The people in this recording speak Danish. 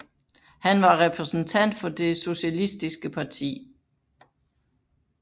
Han var repræsentant for Det Socialistiske Parti